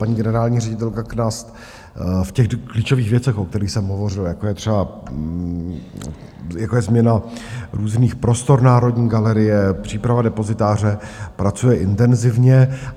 Paní generální ředitelka Knast v klíčových věcech, o kterých jsem hovořil, jako je třeba změna různých prostor Národní galerie, příprava depozitáře, pracuje intenzivně.